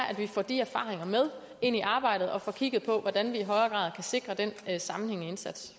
at vi får de erfaringer med ind i arbejdet og får kigget på hvordan vi i højere grad kan sikre den sammenhængende indsats